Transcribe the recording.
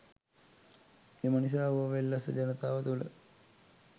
එම නිසා ඌව වෙල්ලස්ස ජනතාව තුළ